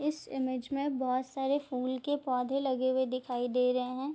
इस इमेज में बहुत सारे फूल के पौधे लगे हुए दिखाई दे रहे है।